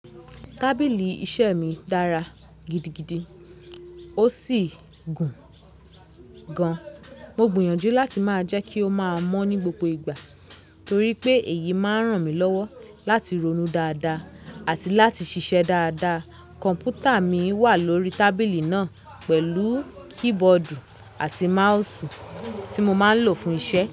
Tábìlì iṣẹ́ mi dára gidigidi ó sì gùn, gan. Mo gbìyànjú láti máa jẹ́ kí ó máa mọ́ ní gbogbo ìgbà torí pé èyí máa ń ràn mí lọ́wọ́ láti ronú dáadáa àti láti ṣiṣẹ́ dáadáa. Kọ̀m̀pútà mi wà lórí tábìlì náà pẹ̀lú keyboard àti mouse, tí mo máa ń lò fún iṣẹ́.